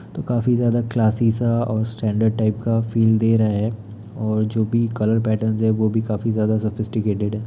तो काफ़ी ज्यादा क्लासी सा और स्टैंडर्ड टाइप का फील दे रहे और जो भी कलर पैटर्न्स है वो भी काफ़ी ज्यादा सोफिसटिकटेड है।